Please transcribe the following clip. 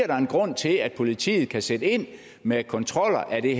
der en grund til at politiet kan sætte ind med kontroller af det